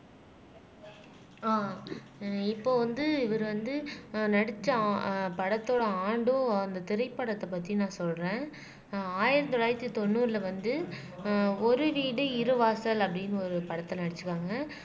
ஆஹ் ஹம் இப்போ வந்து இவர் வந்து அஹ் நடிச்ச படத்தோட ஆண்டும் அந்த திரைப்படத்தை பத்தி நான் சொல்றேன் ஆயிரத்தி தொள்ளாயிரத்தி தொண்ணூறுல வந்து ஆஹ் ஒரு வீடு இரு வாசல் அப்படீன்னு ஒரு படத்துல நடிச்சுருக்காங்க